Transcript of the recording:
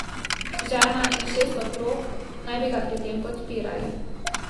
Žena in šest otrok naj bi ga pri tem podpirali.